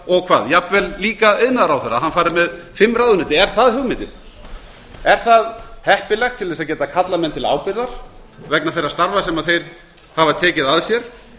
og jafnvel líka iðnaðarráðherra fari með fimm ráðuneyti er það hugmyndin er það heppilegt til að geta kallað menn til ábyrgðar vegna þeirra starfa sem þeir hafa tekið að sér